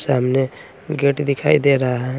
सामने गेट दिखाई दे रहा है।